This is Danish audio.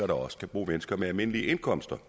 der også kan bo mennesker med almindelige indkomster